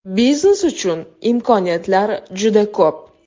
Biznes uchun imkoniyatlar juda ko‘p.